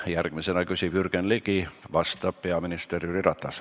Järgmisena küsib Jürgen Ligi, vastab peaminister Jüri Ratas.